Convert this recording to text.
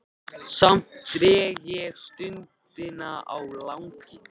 Samt dreg ég stundina á langinn.